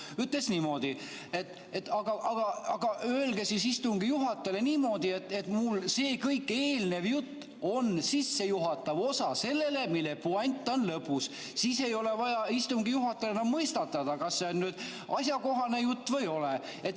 Ta ütles niimoodi, et aga öelge siis istungi juhatajale niimoodi, et kõik see eelnev jutt on sissejuhatav osa, puänt on lõpus, siis ei ole vaja istungi juhatajal mõistatada, kas see on asjakohane jutt või ei ole.